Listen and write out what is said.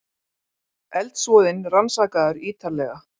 Eldsvoðinn rannsakaður ýtarlega